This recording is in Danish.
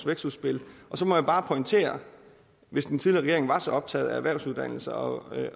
vækstudspil og så må jeg bare pointere hvis den tidligere regering var så optaget af erhvervsuddannelser og